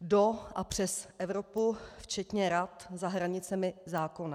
do a přes Evropu včetně rad za hranicemi zákona.